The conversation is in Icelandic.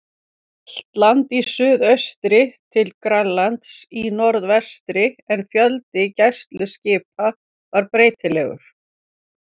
Hjaltlandi í suðaustri til Grænlands í norðvestri, en fjöldi gæsluskipanna var breytilegur.